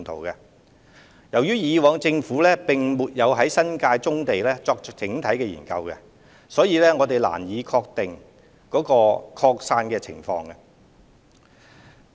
由於政府過往並沒有就新界棕地作整體研究，因此難以確定其擴散情況。